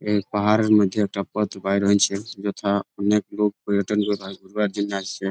এই পাহাড়ের মধ্যে একটা পথ বার হচ্ছে | যথা অনেক লোক পর্যটন করবার ঘুরবার জন্য আসছে ।